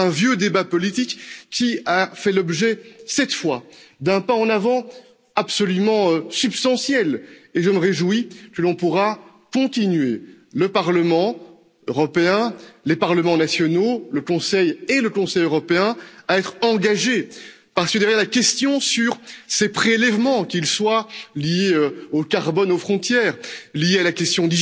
C'est un vieux débat politique qui a fait l'objet, cette fois, d'un pas en avant absolument substantiel, et je me réjouis que l'on puisse continuer, le Parlement européen, les parlements nationaux, le Conseil et le Conseil européen, à être engagés, parce que derrière la question sur ces prélèvements, qu'ils soient liés au carbone aux frontières, liés à la question